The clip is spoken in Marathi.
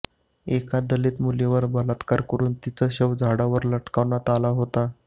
एका दलित मुलीवर बलात्कार करून तिचं शव झाडावर लटकवण्यात आलं होतं